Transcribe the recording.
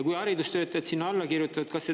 On teada, et kohapeal see suhe niisugune ei ole.